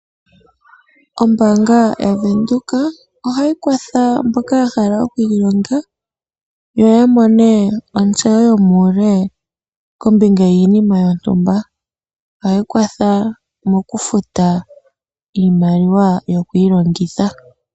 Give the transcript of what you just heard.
Ombaanga yaVenduka ohayi kwatha mboka yahala okwiilonga yo ya mone ontseyo yomuule kombinga yiinima yontumba, ohayi kwatha okufuta iimaliwa yokwiilongitha.